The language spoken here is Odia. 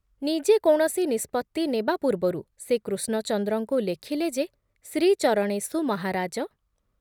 ନିଜେ କୌଣସି ନିଷ୍ପତ୍ତି ନେବା ପୂର୍ବରୁ ସେ କୃଷ୍ଣଚନ୍ଦ୍ରଙ୍କୁ ଲେଖିଲେ ଯେ ଶ୍ରୀଚରଣେଷୁ ମହାରାଜ